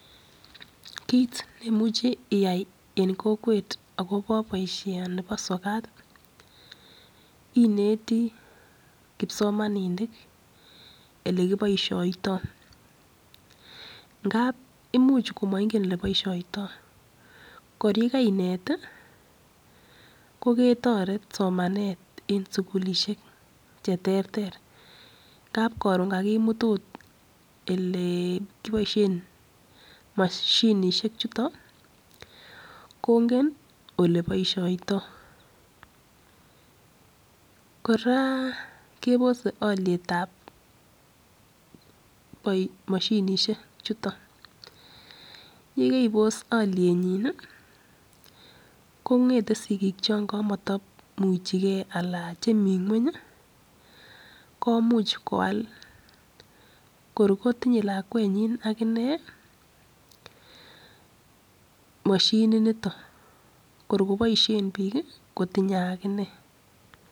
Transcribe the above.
Kiit neimuchi iyai en kokwet akobo boishoni bo sokat, ineti kipsomaninik ole kiboishoitoi. Ndap imuch komaigen ele boishoitoi. Kor yekainet, koketiret somanet, en sukulishek che terter ngap karon kakimut agot, ele kiboishen mashinishek chutok, kongen oke boishoitoi. Kora kebosei alyetab moshinishek chutok. Ye kibos alyenyi, kongetei sigik cho maimuchegei ala chemi ng'weny komuch koal. kor kotinyei lakwenyi akine mashini nitok. Kor koboishen biik, kitinyei ak ine.